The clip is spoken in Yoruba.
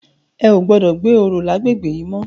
È ó gbòdò gbé óró làgbégbé yi mò